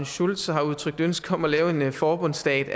schulz og har udtrykt ønske om at lave en forbundsstat